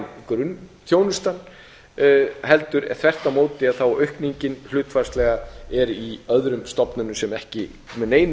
það yrði sérstaklega varin grunnþjónustan heldur þvert á móti er aukningin hlutfallslega í öðrum stofnunum sem ekki með neinu